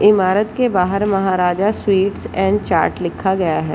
ईमारत के बाहर महाराजा स्वीट्स एंड चाट लिखा गया है।